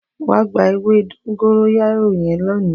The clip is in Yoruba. Wà gbà èwé dongoyaro yén léni